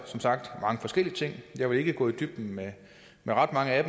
som sagt mange forskellige ting jeg vil ikke gå i dybden med ret mange af